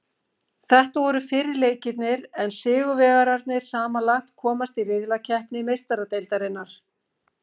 Þetta voru fyrri leikirnir en sigurvegararnir samanlagt komast í riðlakeppni Meistaradeildarinnar.